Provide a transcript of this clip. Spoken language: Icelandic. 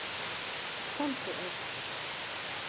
Komdu, Örn.